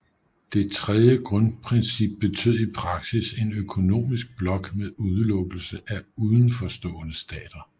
Det tredje grundprincip betød i praksis en økonomisk blok med udelukkelse af uden for stående stater